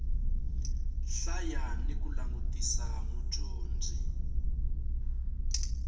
hlaya ni ku langutisa mudyondzi